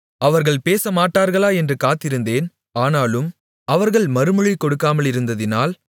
அவர்கள் பேசமாட்டார்களா என்று காத்திருந்தேன் ஆனாலும் அவர்கள் மறுமொழி கொடுக்காமலிருந்ததினால்